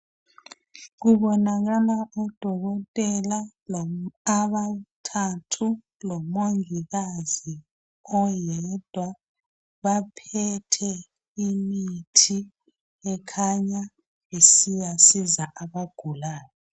Kubonakala odokotela abathathu lomongikazi oyedwa. Baphethe imithi, ekhanya isiyasiza abagulayo.